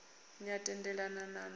ni a tendelana na na